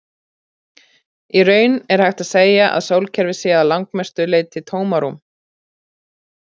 Í raun er hægt að segja að sólkerfið sé að langmestu leyti tómarúm.